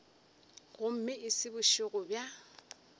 gomme e se bošego bja